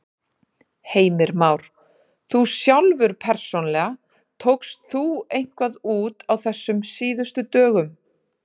Heimir Már: Þú sjálfur persónulega, tókst þú eitthvað út á þessum síðustu dögum?